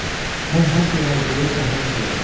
Mən hər şeyi hazırlayıb saxmana salaram.